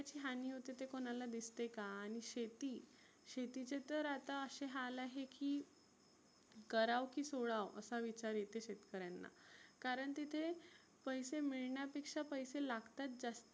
हानी होते ते कुणाला दिसते का? आणि शेती शेतीचे तर आता असे हाल आहे की करावं की सोडावं असा विचार येते शेतकऱ्यांना. कारण तिथे पैसे मिळण्यापेक्षा पैसे लागतात जास्ती.